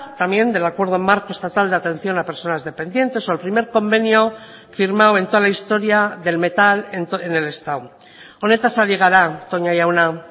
también del acuerdo marco estatal de atención a personas dependientes o el primer convenio firmado en toda la historia del metal en el estado honetaz ari gara toña jauna